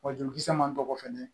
Wa jolikisɛ man dɔgɔn fɛnɛ